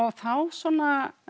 þá svona